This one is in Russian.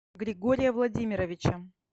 григория владимировича